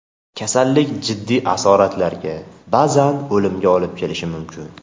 Kasallik jiddiy asoratlarga, ba’zan o‘limga olib kelishi mumkin.